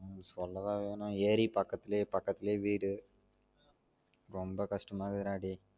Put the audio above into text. சொல்லவா வேணும் ஏறி பக்கத்துலே பக்கத்துலே வீடு ரொம்ப கஷ்டமா இருக்குது டா டே